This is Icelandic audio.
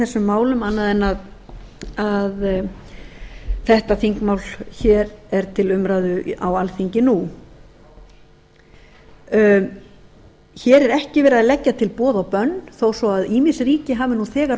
þessum málum annað en að þetta þingmál hér er til umræðu á alþingi nú hér er ekki verið að leggja til boð og bönn þó svo að ýmis ríki hafi nú þegar